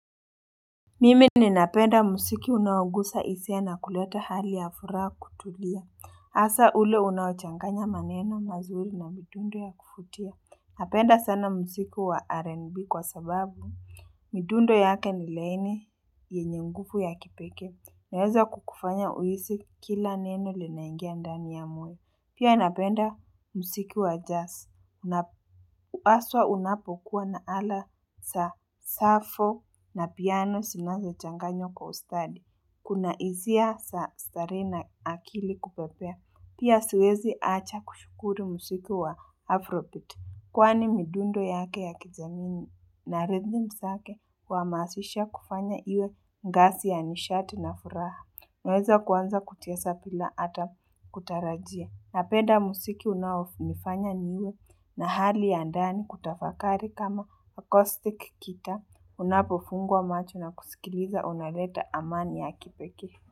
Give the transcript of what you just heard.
Mimi ninapenda musiki unaougusa hisis na kuleta hali ya furaha na kutulia hasa ule unaochanganya maneno mazuri na midundo ya kuvutia. Napenda sana musiki wa rn b kwa sababu midundo yake ni laini yenye nguvu ya kipekee Naweza kukufanya huisi kila neno linaingia ndani ya mwili. Pia napenda musiki wa jazz na aswa unapokuwa na ala sa safo na piano sinazochanganywa kwa ustadi Kuna hisia za starehe na akili kupepea. Pia siwezi acha kushukuru musiki wa afrobeat Kwani midundo yake ya kijanini na rhythm sake Kwa masisha kufanya iwe ngasi ya nishati na furaha Naweza kwanza kuchesa pila ata kutarajia. Napenda musiki unaofanya niwe na hali ya ndani kutafakari kama akostik gita unapofunga macho na kusikiliza unaleta amani ya kipekee.